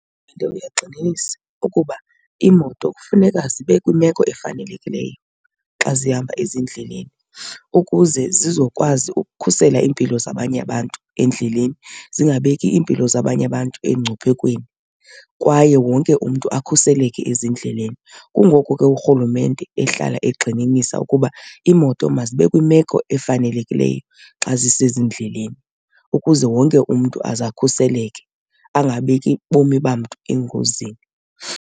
gxininisa ukuba iimoto kufuneka zibe kwimeko efanelekileyo xa zihamba ezindleleni ukuze zizokwazi ukukhusela impilo zabanye abantu endleleni, zingabeki iimpilo zabanye abantu engcuphekweni kwaye wonke umntu akhuseleke ezindleleni. Kungoko ke uRhulumente ehlala egxininisa ukuba iimoto mazibe kwimeko efanelekileyo xa zisezindleleni ukuze wonke umntu aze akhuseleke, angabeki bomi bam umntu engozini.